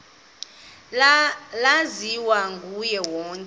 laziwa nguye wonke